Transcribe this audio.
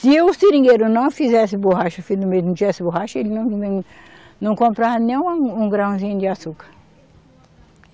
Se o seringueiro não fizesse borracha, se no meio não tivesse borracha, ele não, não, não comprava nem uma, um grãozinho de açúcar.